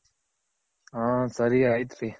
ಹ ಸರಿ ಆಯ್ತ್ ರಿ.